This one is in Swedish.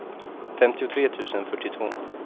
femtiotre tusen fyrtiotvå